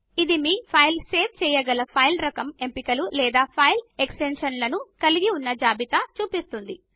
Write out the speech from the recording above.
ఇది మీ file save చేయగల ఫైలు రకం ఎంపికలు లేదా ఫైల్ ఎక్స్టెన్షన్లను కలిగి ఉన్న జాబితా ను చూపిస్తుంది